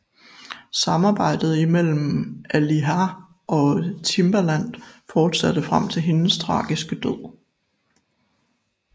Samarbejdet mellem Aaliyah og Timbaland fortsatte frem til hendes tragiske død